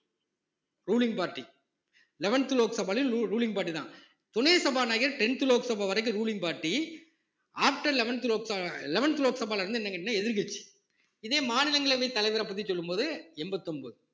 ruling party eleventh லோக்சபாவில் ruling party தான் துணை சபாநாயகர் tenth லோக்சபா வரைக்கும் ruling party after eleventh லோக்ச~ eleventh லோக்சபால இருந்து என்னன்னு கேட்டீங்கன்னா எதிர்க்கட்சி இதே மாநிலங்களவைத் தலைவரைப் பத்தி சொல்லும் போது எண்பத்து ஒன்பது